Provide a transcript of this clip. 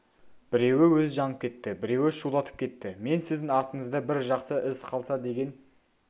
біреуі өзі жанып кетті біреуі шулатып кетті мен сіздің артыңызда бір жақсы із қалса деген